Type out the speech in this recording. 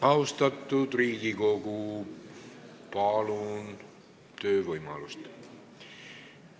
Austatud Riigikogu, palun töövõimalust!